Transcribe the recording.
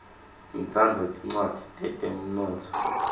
ngitsandza tincwadzi tetemnotfo